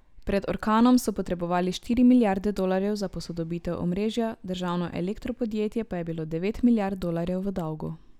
Pred orkanom so potrebovali štiri milijarde dolarjev za posodobitev omrežja, državno elektro podjetje pa je bilo devet milijard dolarjev v dolgu.